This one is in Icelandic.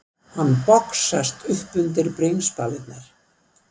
Hann boxast upp undir bringspalirnar.